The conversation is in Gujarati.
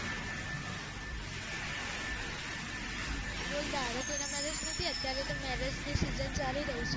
બોલ તારે કોઇ ન marriage નથી અત્યારે તો marriage ની season ચાલી રહી છે